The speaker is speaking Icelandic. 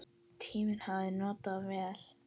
Tímann hafði hann notað vel.